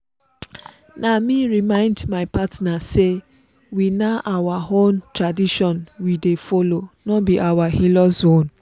na me remind my partner say we na our own tradition we dey follow no be our in-laws own